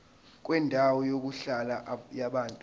kwendawo yokuhlala yabantu